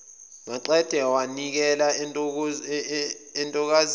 maqede wanikela entokazini